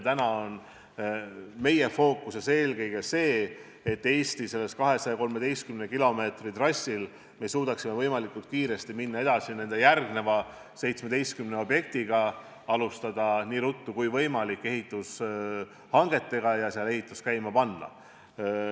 Täna on meie fookuses eelkõige see, et suudaksime Eesti 213 km pikkusel trassil minna võimalikult kiiresti edasi järgmise 17 objektiga, alustada nii ruttu kui võimalik ehitushangete tegemist ja ehitus käima panna.